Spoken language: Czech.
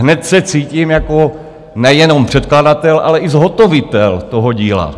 Hned se cítím jako nejenom předkladatel, ale i zhotovitel toho díla.